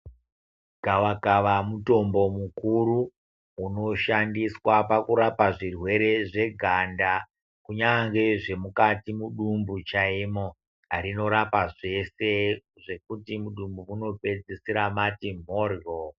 Gava kava mutombo mukuru unoshandiswa kurapa zvirwere zveganda rinorapa zveshe zvekuti mudumbu munopedzisira Mari mboryo.